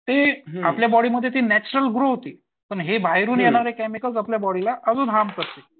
ती आपल्या बॉडीमध्ये ती नॅच्युरल ग्रो होती. पण हे बाहेरून येणारे केमिकल्स आपल्या बॉडीला अजून हार्म करतील.